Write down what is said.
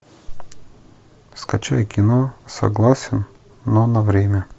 скачай кино согласен но на время